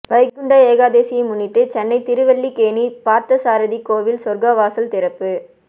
வைகுண்ட ஏகாதசியை முன்னிட்டு சென்னை திருவல்லிக்கேணி பார்த்தசாரதி கோவில் சொர்க்கவாசல் திறப்பு